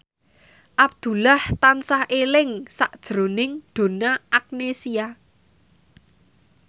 Abdullah tansah eling sakjroning Donna Agnesia